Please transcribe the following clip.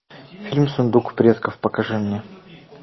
фильм сундук предков покажи мне